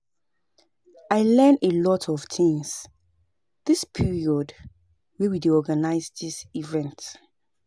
I learn a lot of things dis period wey we dey organize dis event